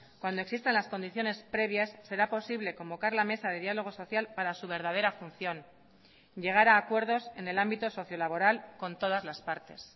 cuando existan las condiciones previas será posible convocar la mesa de diálogo social para su verdadera función llegar a acuerdos en el ámbito socio laboral con todas las partes